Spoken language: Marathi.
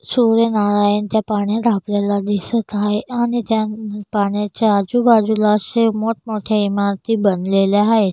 सूर्यनारायन त्या पाण्यात आपल्याला दिसत आहे आणि त्या पाणाच्या आजूबाजूला असे मोट मोठे इमारती बनलेलं आहे.